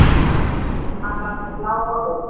Hann var með bláa ól.